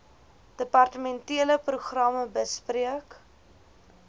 departementele programme bespreek